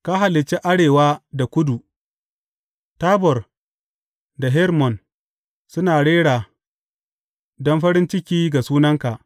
Ka halicce arewa da kudu; Tabor da Hermon suna rera don farin ciki ga sunanka.